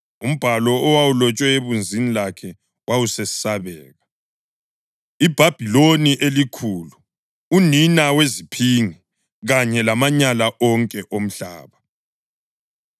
Umbhalo owawulotshwe ebunzini lakhe wawusesabeka: iBhabhiloni eliKhulu uNina weziPhingi kanye lamaNyala wonke oMhlaba.